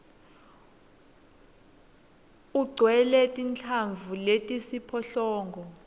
ugcwele tinhlavu letisiphohlongo